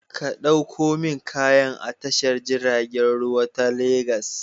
Ka ɗauko min kayan a tashar jiragen ruwa ta Legas.